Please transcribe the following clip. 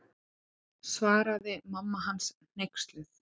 Svaraði mamma hans hneyksluð.